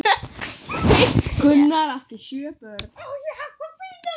Gunnar átti sjö börn.